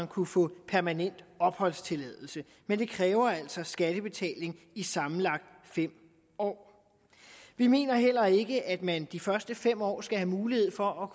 kunne få permanent opholdstilladelse men det kræver altså skattebetaling i sammenlagt fem år vi mener heller ikke at man de første fem år skal have mulighed for at